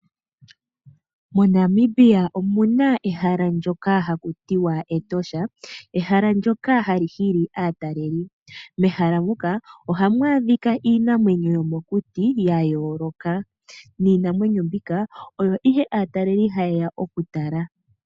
MoNamibia omuna ehala ndyoka haku tiwa Etosha ,ehala ndyoka hali hili aataleli. Mehala muka ohamu adhika iinamwenyo yomokuti ya yooloka niinamwenyo mbika oyo ihe aataleli hayeya okutala.